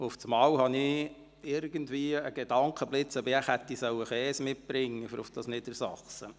Auf einmal kam mir der Gedankenblitz, ob ich wohl Käse hätte bringen sollen für den Besuch in Niedersachsen.